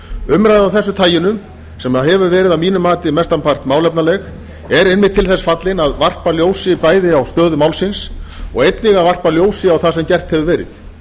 umræða af þessu taginu sem hefur verið að mínu mati mestan part málefnaleg er einmitt til þess fallin að varpa bæði ljósi á stöðu málsins og einnig að varpa ljósi á það sem gert hefur verið